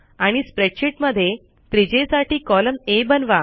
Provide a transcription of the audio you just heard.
आणि स्प्रेडशीट मध्ये त्रिज्येसाठी कॉलम आ बनवा